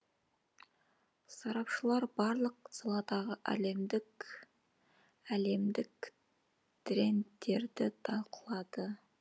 сарапшылар барлық саладағы әлемдік трендтерді талқылады